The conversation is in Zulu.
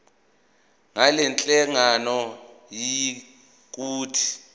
ngalenhlangano yiya kut